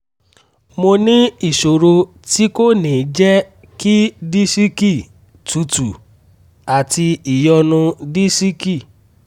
mo ní ìṣòro tí kò ní jẹ́ kí disiki tútù àti ìyọnu disiki